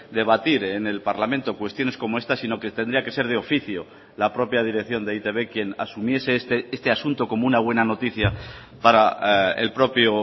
debatir en el parlamento cuestiones como esta sino que tendría que ser de oficio la propia dirección de e i te be quién asumiese este asunto como una buena noticia para el propio